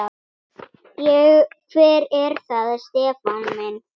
Hver er það Stefán minn?